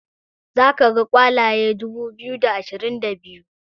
za ka ga kwalaye dubu biyu da ashirin da biyu